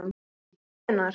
En hvenær?